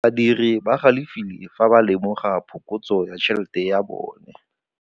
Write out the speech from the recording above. Badiri ba galefile fa ba lemoga phokotsô ya tšhelête ya bone.